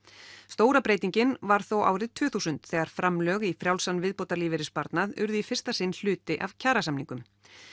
stóra breytingin varð þó árið tvö þúsund þegar framlög í frjálsan viðbótarlífeyrissparnað urðu í fyrsta sinn hluti af kjarasamningum